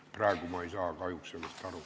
Praegu ma ei saa kahjuks sellest aru.